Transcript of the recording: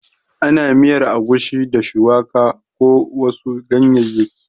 Ana miyar agushi da shuwaka ko wasu ganyayyaki